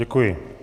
Děkuji.